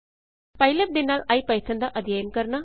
PyLab ਦੇ ਨਾਲ IPython ਦਾ ਅਧਿਅਨ ਕਰਨਾ